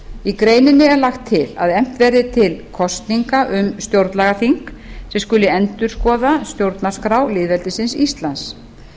í greininni er lagt til að efnt verði til kosninga um stjórnlagaþing sem skuli endurskoða stjórnarskrá lýðveldisins íslands